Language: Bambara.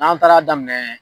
An taar'a daminɛ